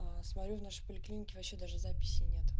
смотрю в нашей поликлинике вообще даже записи нет